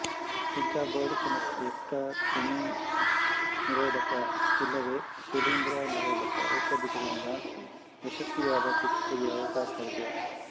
ಇಂಥ ಬೋಳುತನಕ್ಕೆ ಯುಕ್ತ ಕ್ರಿಮಿನಿರೋಧಕ ಇಲ್ಲವೇ ಶಿಲೀಂಧ್ರ ನಿರೋಧಕ ಔಷಧಿಗಳಿಂದ ಯಶಸ್ವಿಯಾದ ಚಿಕಿತ್ಸೆಗೆ ಅವಕಾಶವಿದೆ